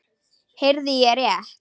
Heyrði ég rétt.